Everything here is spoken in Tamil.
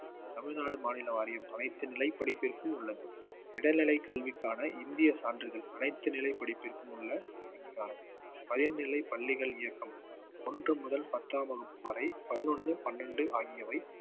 தமிழ்நாடு மாநில வாரியம் அனைத்து நிலை படிப்பிற்கும் உள்ளது இடைநிலை கல்விக்கான இந்திய சான்றிதழ் அனைத்து நிலை படிப்பிற்கும் உள்ள அங்கீகாரம் பயன்நிலைப் பள்ளிகள் இயக்கம் ஒன்று முதல் பத்தாம் வகுப்பு வரை பதினொண்ணு பன்னெண்டு ஆகியவை